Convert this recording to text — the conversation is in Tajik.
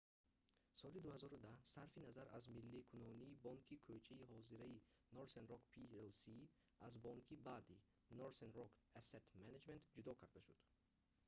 соли 2010 сарфи назар аз милликунонӣ бонки кӯчаи ҳозираи northern rock plc аз бонки бад"‑и northern rock asset management ҷудо карда шуд